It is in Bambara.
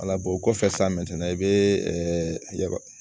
o kɔfɛ san i bɛ ya